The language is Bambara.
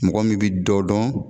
Mɔgɔ min bɛ dɔ dɔn